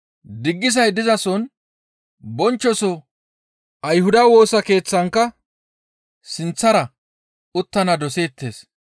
Diggisay dizason bonchchoso Ayhuda Woosa Keeththankka sinththara uttana doseettes.